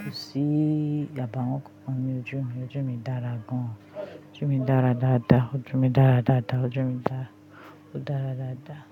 kò sí ì àbáwọ́n kànkan ní ojú mi. Ojú mi dára gan. Ojú mi dára dáadáa. Ojú mi dára dáadáa. Ojú mi dára, ó dára dáadáa.